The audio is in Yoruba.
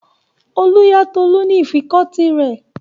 Olú yá Tolú ní ìfikọ́tí rẹ̀.